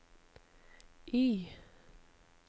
Y